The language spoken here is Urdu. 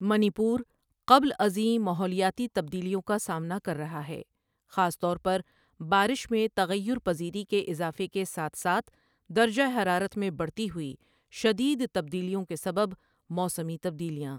منی پور قبل ازیں ماحولیاتی تبدیلیوں کا سامنا کر رہا ہے، خاص طور پر بارش میں تغیر پذیری کے اضافے کے ساتھ ساتھ درجۂ حرارت میں بڑھتی ہوئی شدید تبدیلیوں کے سبب موسمی تبدیلیاں۔